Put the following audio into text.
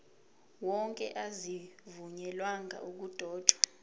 wonke azivunyelwanga ukudotshwa